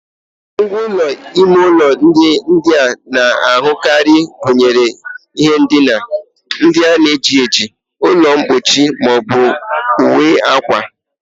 Ngwá ụlọ ime ụlọ ndị a na-ahụkarị gụnyere ihe ndina, ndị na-eji ejiji, ụlọ mkpuchi ma ọ bụ uwe akwa